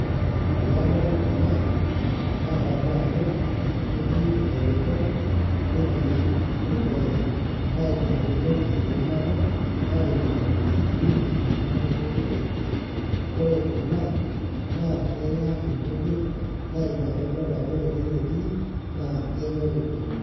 Tanadol kunabnadamu ajo ketii elipong netii olee na ina pidol ajo ketii nabo narikito nkachuin kumok oleng ore kuna na kenya nkujit na ina pa idol ajo ore ene netii na kenyori oleng.